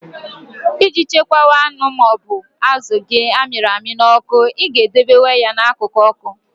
Iji chekwaa anụ ma ọ bụ azụ gị amịrị n'ọkụ, I ga-edobe ya n'akụkụ ọkụ.